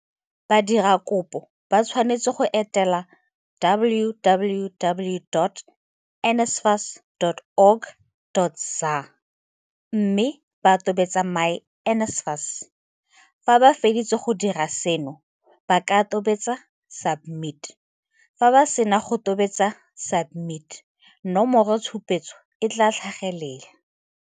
Badiradikopo ba tshwanetse go etela www.nsfas.org.za mme ba tobetse myNSFAS. Fa ba feditse go dira seno, ba ka tobetsa SUBMIT. Fa ba sena go tobetsa SUBMIT, nomoro tshupetso e tla tlhagelela.